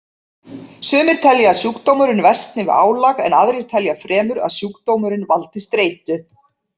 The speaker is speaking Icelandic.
Sumir telja að sjúkdómurinn versni við álag en aðrir telja fremur að sjúkdómurinn valdi streitu.